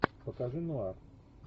покажи нуар